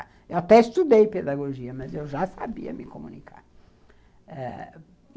Eu até estudei pedagogia, mas eu já sabia me comunicar.